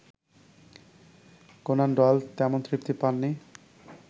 Conan Doyle তেমন তৃপ্তি পাননি